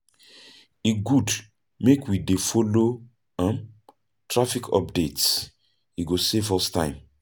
E good make we dey follow traffic updates, e go save us time.